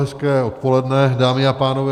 Hezké odpoledne, dámy a pánové.